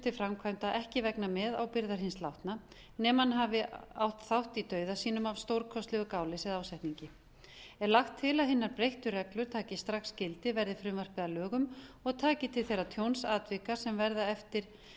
til framfæranda ekki vegna meðábyrgðar hins látna nema hann hafi átt þátt í dauða sínum af stórkostlegu gáleysi eða ásetningi er lagt til að hinar breyttu reglur taki strax gildi verði frumvarpið að lögum og taki til þeirra tjónsatvika sem verða eftir